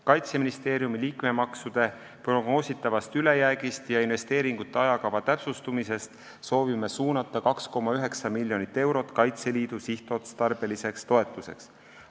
Kaitseministeeriumi liikmemaksude prognoositavast ülejäägist ja investeeringute ajakava täpsustumisest soovime suunata 2,9 miljonit eurot Kaitseliidu sihtotstarbeliseks toetuseks.